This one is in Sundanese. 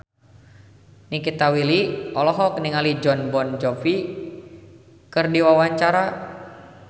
Nikita Willy olohok ningali Jon Bon Jovi keur diwawancara